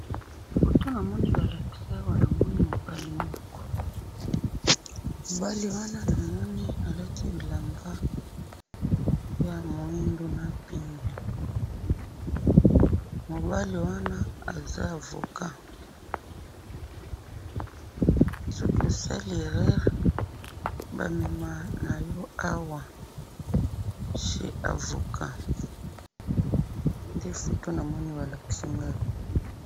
photo namoni balakisi awa mobali moko mobali wana namoni alati bilamba ya moindo na pembe mobali wana aza avoca soki osali errere baomemayo awa chr avoca ndenamoni awa